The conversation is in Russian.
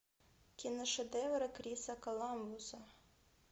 киношедевры криса коламбуса